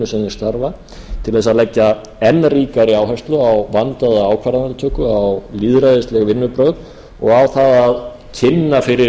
þeir starfa til þess að leggja enn ríkari áherslu á vandaða ákvarðanatöku á lýðræðisleg vinnubrögð og á það að kynna fyrir